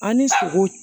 An ni sogo